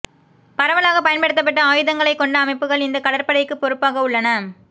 பரவலாக பயன்படுத்தப்பட்ட ஆயுதங்களைக் கொண்ட அமைப்புகள் இந்த கடற்படைக்கு பொறுப்பாக உள்ளன